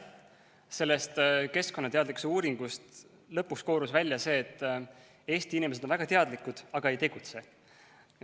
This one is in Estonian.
Sellest keskkonnateadlikkuse uuringust koorus lõpuks välja see, et Eesti inimesed on väga teadlikud, aga ei tegutse.